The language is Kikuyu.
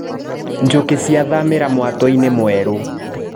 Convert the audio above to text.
Njũkĩ ciathamĩra mwatũinĩ mwerũ.